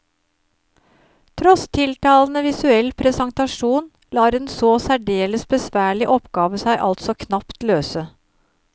Tross tiltalende visuell presentasjon lar en så særdeles besværlig oppgave seg altså knapt løse.